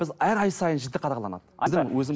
біз әр ай сайын жіті қадағаланады